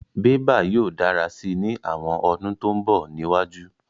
Bébà yóò dára si ní àwọn ọdún tó mbọ̀ níwájú